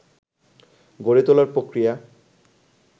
গড়ে তোলার প্রক্রিয়া